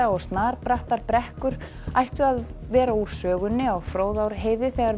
og snarbrattar brekkur ættu að vera úr sögunni á Fróðárheiði þegar